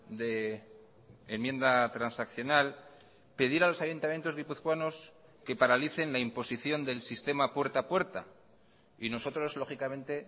de enmienda transaccional pedir a los ayuntamientos guipuzcoanos que paralicen la imposición del sistema puerta a puerta y nosotros lógicamente